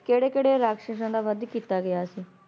ਕੇੜੇ-ਕੇੜੇ ਰਾਕਸ਼ਸਾਂ ਦਾ ਵੱਧ ਕੀਤਾ ਗਯਾ ਸੀ?